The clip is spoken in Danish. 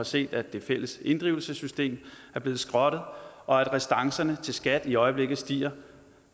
set at det fælles inddrivelsessystem er blevet skrottet og at restancerne til skat i øjeblikket stiger